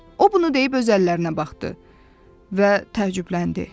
O bunu deyib öz əllərinə baxdı və təəccübləndi.